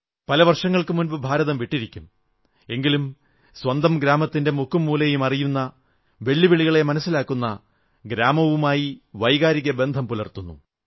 പല വർഷങ്ങൾക്കു മുമ്പ് ഭാരതം വിട്ടിരിക്കും എങ്കിലും സ്വന്തം ഗ്രാമത്തിന്റെ മുക്കും മൂലയും അറിയുന്നു വെല്ലുവിളികളെ മനസ്സിലാക്കുന്നു ഗ്രാമവുമായി വൈകാരിക ബന്ധം പുലർത്തുന്നു